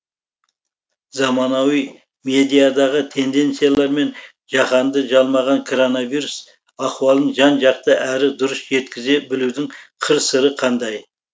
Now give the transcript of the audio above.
заманауи медиадағы тенденциялар мен жаһанды жалмаған коронавирус ахуалын жан жақты әрі дұрыс жеткізе білудің қыр сыры қандай